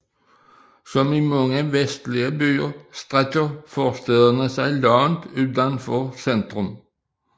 Som i mange vestlige byer strækker forstæderne sig langt uden for centrum